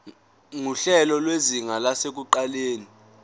nguhlelo lwezinga lasekuqaleni